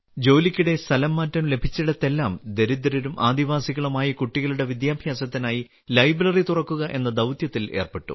ജോലിക്കിടെ സ്ഥലംമാറ്റം ലഭിച്ചിടത്തെല്ലാം ദരിദ്രരും ആദിവാസികളുമായ കുട്ടികളുടെ വിദ്യാഭ്യാസത്തിനായി ലൈബ്രറി തുറക്കുക എന്ന ദൌത്യത്തിൽ ഏർപ്പെട്ടു